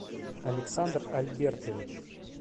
александр альбертович